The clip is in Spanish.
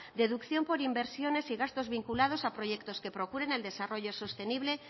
deducción por inversiones y gastos vinculados a proyectos que procuren el desarrollo sostenible